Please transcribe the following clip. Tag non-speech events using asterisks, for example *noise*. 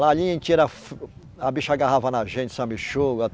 Lá a, *unintelligible* a bicha agarrava na gente, sanguessuga.